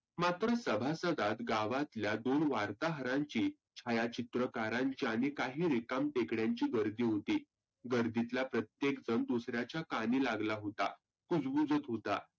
मात्र सभासदात गावातल्या दोन वार्ताहरांची छायाकित्रकारांच्या आणि काही रिकाम टेकड्यांची गरदी होती. गरदितला प्रत्येक जन दुसर्यांच्या कानी लागला होता. कुजबुजत होता.